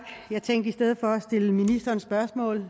jeg tænkte at i stedet for at stille ministeren spørgsmål